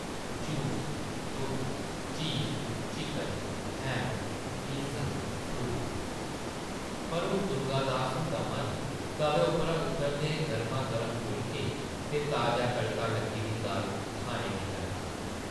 Juice, दुद्ध, cheese, chicken, ham, pizza, fruit.... पर हून दुर्गा दास हुंदा मन तवे उप्परा उतरदे गर्मा-गर्म फुलके ते ताजा तड़का लग्गी दी दाल खाने गी करदा ।